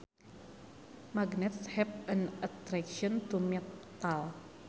Magnets have an attraction to metal